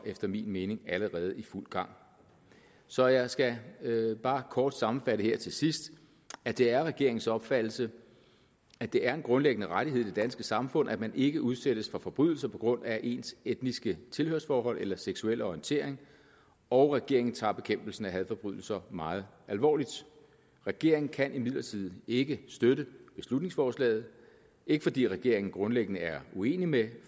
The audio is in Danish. efter min mening allerede i fuld gang så jeg skal bare kort sammenfatte her til sidst at det er regeringens opfattelse at det er en grundlæggende rettighed i det danske samfund at man ikke udsættes for forbrydelser på grund af ens etniske tilhørsforhold eller seksuelle orientering og regeringen tager bekæmpelsen af hadforbrydelser meget alvorligt regeringen kan imidlertid ikke støtte beslutningsforslaget ikke fordi regeringen grundlæggende er uenig med